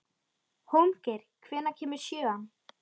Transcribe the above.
Hólmgeir, hvenær kemur sjöan?